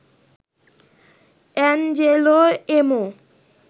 Angelo Emo